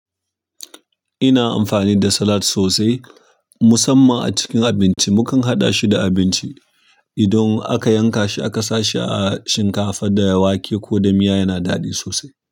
Ina amfani da salat sosai musamman a cikin abinci. Mukan haɗa shi da abinci idan aka yanka shi aka sa shi a shinkafa da wake ko da miya yana daɗi sosai.